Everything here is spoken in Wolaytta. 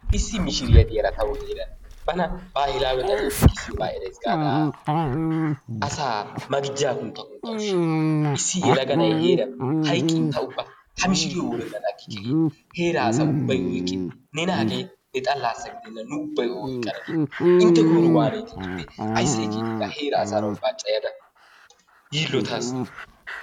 Issi mishshiriyaa de'iyaara bana bahilaawe xalliyaa giigisiyoogaa erays gaada asaa maqijjaa kuntta kuntta ushshawus. Issi yelaga na'ay heeran hayqqin ta ubba ha mishiriyoo worennan agikke gaada heera asay ubbay oyqqin nena hagee ne xalaassa gidenna nu ubbay o oyqqana intte koyro waanetee ga heeraa asaara ubbaara caayada yiillotaas.